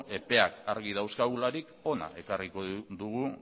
epeak argi dauzkagularik hona ekarriko dugu